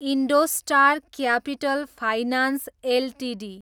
IndoStar capital finance Ltd